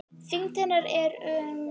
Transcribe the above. Þyngd hennar er um